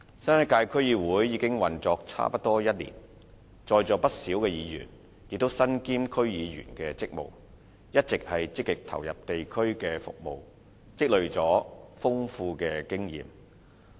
新一屆區議會已運作差不多1年，在座不少議員也身兼區議員的職務，一直積極投入地區的服務，累積了豐富經驗。